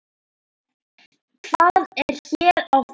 Hvað er hér á ferð?